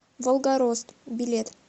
волгорост билет